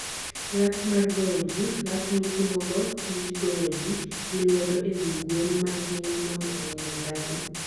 Lath mar goyo ji: Lath mitimogo tij goyo ji gi lwedo e wi gwen mangima mondo oneg dhano.